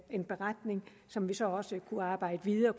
en beretning som vi så også kunne arbejde videre